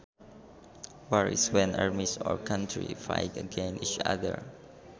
War is when armies or countries fight against each other